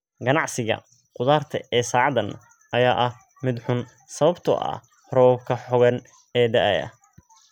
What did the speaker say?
Ganacsiga qudarta ee saacadan ayaa ah mid xun sababtoo ah roobabka xooggan ee da'aya.